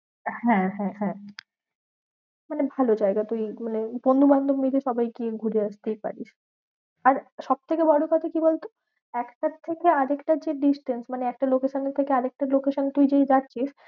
হ্যাঁ হ্যাঁ হ্যাঁ, মানে ভালো জায়গা তুই মানে বন্ধু বান্ধব নিয়ে সবাই গিয়ে ঘুরে আসতেই পারিস। আর সবথেকে বড় কথা কি বলতো? একটার থেকে আরেকটার যে distance মানে একটা location থেকে আরেকটা location তুই যদি